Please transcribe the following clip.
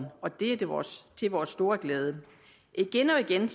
og det er til vores store glæde igen og igen